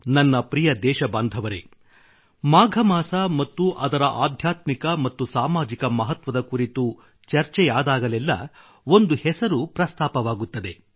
ನನ್ನ ಪ್ರಿಯ ದೇಶಬಾಂಧವರೆ ಮಾಘಮಾಸ ಮತ್ತು ಅದರ ಆಧ್ಯಾತ್ಮಿಕ ಮತ್ತು ಸಾಮಾಜಿಕ ಮಹತ್ವದ ಕುರಿತು ಚರ್ಚೆಯಾದಾಗಲೆಲ್ಲ ಒಂದು ಹೆಸರು ಪ್ರಸ್ತಾಪವಾಗುತ್ತದೆ